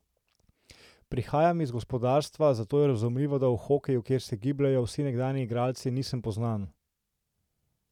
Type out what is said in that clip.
Prihajam iz gospodarstva, zato je razumljivo, da v hokeju, kjer se gibljejo vsi nekdanji igralci, nisem poznan.